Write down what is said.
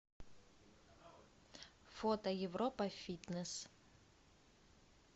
фото европа фитнес